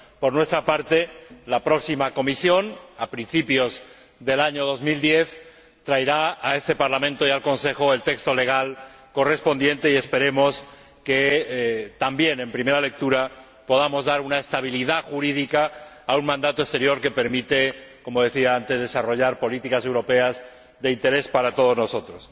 Por nuestra parte, la próxima Comisión, a principios del año 2010, traerá a este Parlamento y al Consejo el texto legal correspondiente y esperemos que, también en primera lectura, podamos dar una estabilidad jurídica a un mandato exterior que permite, como decía antes, desarrollar políticas europeas de interés para todos nosotros.